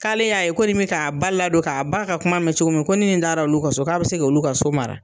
K'ale y'a ye ko nin bɛ k'a ba ladon, k'a ba ka kuma mɛn cogo min, ko ni nin taara olu ka so k'a bɛ se ka olu ka so mara.